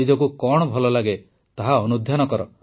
ନିଜକୁ କଣ ଭଲ ଲାଗେ ତାହା ଅନୁଧ୍ୟାନ କର